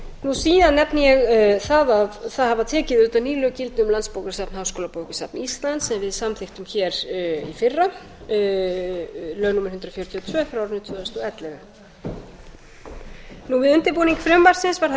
síðan nefni ég það að auðvitað hafa tekið gildi ný lög um landsbókasafn háskólabókasafn íslands sem við samþykktum í fyrra lög númer hundrað fjörutíu og tvö tvö þúsund og ellefu við undirbúning frumvarpsins var höfð